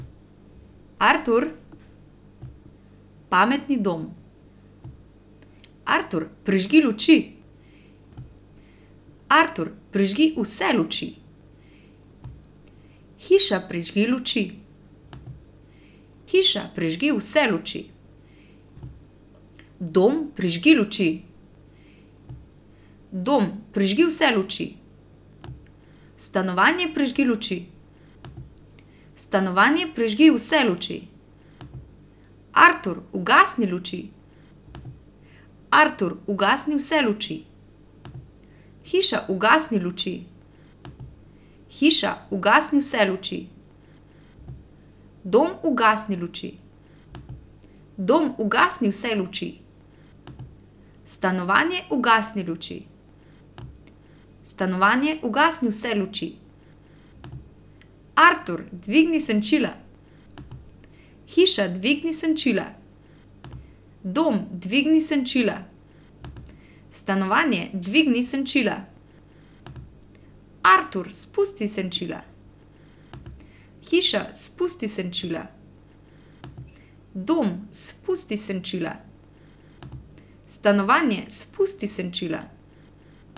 Artur. Pametni dom. Artur, prižgi luči. Artur, prižgi vse luči. Hiša, prižgi luči. Hiša, prižgi vse luči. Dom, prižgi luči. Dom, prižgi vse luči. Stanovanje, prižgi luči. Stanovanje, prižgi vse luči. Artur, ugasni luči. Artur, ugasni vse luči. Hiša, ugasni luči. Hiša, ugasni vse luči. Dom, ugasni luči. Dom, ugasni vse luči. Stanovanje, ugasni luči. Stanovanje, ugasni vse luči. Artur, dvigni senčila. Hiša, dvigni senčila. Dom, dvigni senčila. Stanovanje, dvigni senčila. Artur, spusti senčila. Hiša, spusti senčila. Dom, spusti senčila. Stanovanje, spusti senčila.